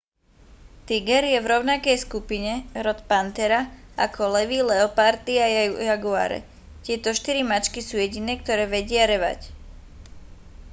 tiger je v rovnakej skupine rod panthera ako levy leopardy a jaguáre. tieto štyri mačky sú jediné ktoré vedia revať